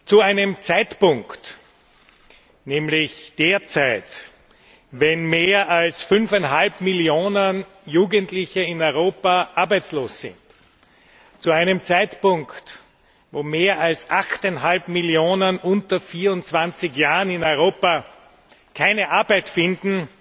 Zu einem Zeitpunkt, nämlich derzeit, wenn mehr als fünfeinhalb Millionen Jugendliche in Europa arbeitslos sind, zu einem Zeitpunkt, wo mehr als achteinhalb Millionen unter 24 Jahren in Europa keine Arbeit finden,